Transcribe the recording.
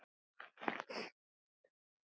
Blessuð sé minning ömmu.